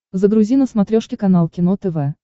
загрузи на смотрешке канал кино тв